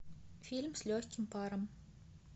фильм с легким паром